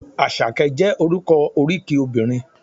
Àṣàkẹ́ jẹ́ orúkọ oríkì obìnrin.